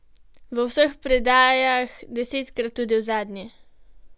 V vseh predajah, desetkrat tudi v zadnji.